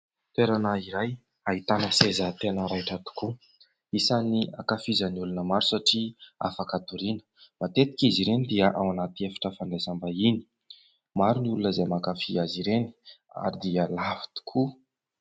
Toerana iray ahitana seza tena raitra tokoa, isany ankafizan'ny olona maro satria afaka hatoriana. Matetika izy ireny dia ao anaty efitra fandraisam-bahiny, maro ny olona izay mankafy azy ireny ary dia lafo tokoa.